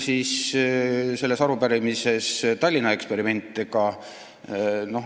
Teine teema arupärimises on Tallinna eksperiment.